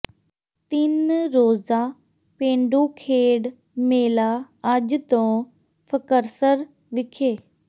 ਤਿੰਨ ਰੋਜ਼ਾ ਪੇਂਡੂ ਖੇਡ ਮੇਲਾ ਅੱਜ ਤੋਂ ਫ਼ਕਰਸਰ ਵਿਖੇ